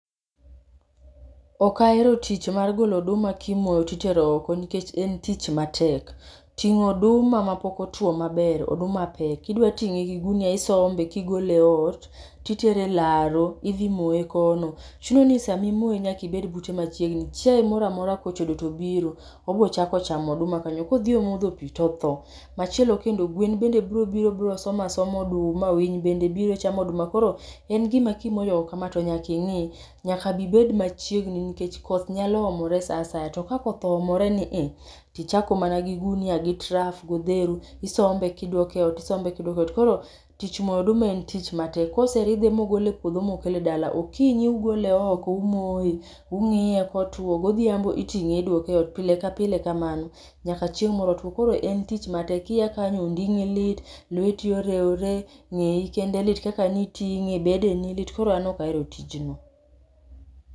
Ok ahero tich mar golo oduma timoyo titero oko nikech en tich matek. Ting'o oduma ma pok otwo maber, oduma pek. Idwa ting'e gi gunia isombe kigole ot titere e laro idhi moye kono. Chuno ni samimoye nyakibed bute machiegni, chiaye mora mora kochodo to biro obochako chamo oduma kanyo, kodhi omodho pi, totho. Machielo kendo, gwen bende bro biro bro soma soma oduma, winy bende biro chamo oduma. Koro en gima kimoyo oko kama to nyaking'i. Nyaka bibed machiegni nikech koth nyalo omore sa asaya, to ka koth oomore ni i, tichako mana gi gunia, gi taf, godheru. Isombe kidwoke ot isombe kidwoke ot, koro tich mo oduma en tich matek. Koseridhe mogole e puodho mokele dala, okinyi ugole oko umoye ung'iye kotwo. Godhiambo iting'e idwoke e ot, pile ka pile kamano, nyaka chieng' moro otwo. Koro en tich matek, kiya kanyo onding'i lit, lweti orewore, ng'eyi kende lit kaka niting'e. Bedeni lit koro an nokaero tijno.